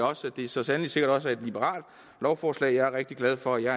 også at det så sandelig sikkert også er et liberalt lovforslag jeg er rigtig glad for at jeg